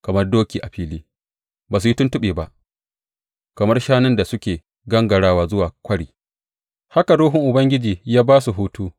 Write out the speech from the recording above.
Kamar doki a fili, ba su yi tuntuɓe ba; kamar shanun da suke gangarawa zuwa kwari, haka Ruhun Ubangiji ya ba su hutu.